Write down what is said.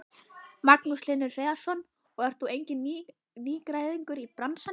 Magnús Hlynur Hreiðarsson: Og þú ert enginn nýgræðingur í bransanum?